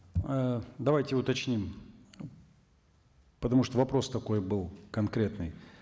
ы давайте уточним потому что вопрос такой был конкретный